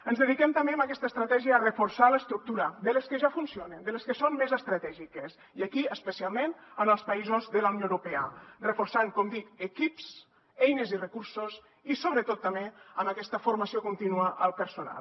ens dediquem també amb aquesta estratègia a reforçar l’estructura de les que ja funcionen de les que són més estratègiques i aquí especialment en els països de la unió europea reforçant com dic equips eines i recursos i sobretot també amb aquesta formació contínua al personal